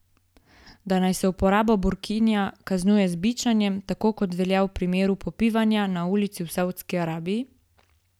Da naj se uporabo burkinija kaznuje z bičanjem, tako kot to velja v primeru popivanja na ulici v Saudski Arabiji?